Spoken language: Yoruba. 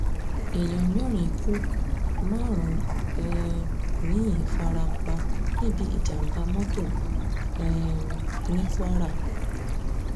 èèyàn mẹ́rin kú márùn-ún um mi-ín fara pa níbi ìjàm̀bá mọ́tò um ní kwara